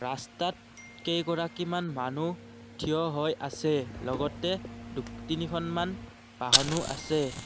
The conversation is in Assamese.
ৰাস্তাত কেইগৰাকীমান মানুহ থিয় হৈ আছে লগতে দু তিনিখনমান বাহনো আছে।